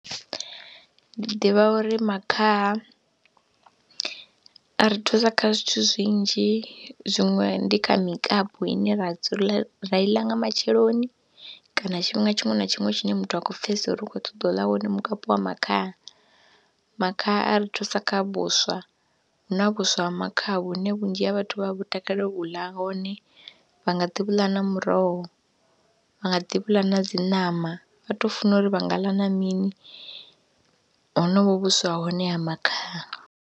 Ndi ḓivha uri makhaha a ri thusa kha zwithu zwinzhi zwiṅwe ndi kha mikapu ine ra dzula ra i ḽa nga matsheloni kana tshifhinga tshiṅwe na tshiṅwe tshine muthu a kho pfhesesa uri u khou ṱoḓa u ḽa wone mukapu wa makhaha. Makhaha a ri thusa kha vhuswa, hu na vhuswa ha makhaha vhune vhunzhi ha vhathu vha vhu takalela u ḽa hone, vha nga ḓi vhu ḽa na muroho, vha nga ḓi vhu ḽa na dzi ṋama, vha tou funa uri vha nga ḽa na mini honovho vhuswa ha hone ha makhaha.